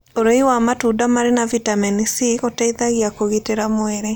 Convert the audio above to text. Ũrĩĩ wa matũnda marĩ na vĩtamenĩ c gũteĩthagĩa kũgĩtĩra mwĩrĩ